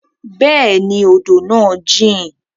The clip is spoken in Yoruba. Bẹẹni, odo naa jin